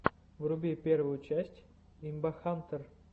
вруби первую часть имбахантэр